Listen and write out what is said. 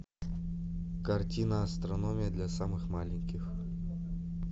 картина астрономия для самых маленьких